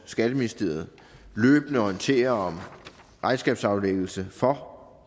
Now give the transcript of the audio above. skatteministeriet løbende orienterer om regnskabsaflæggelse for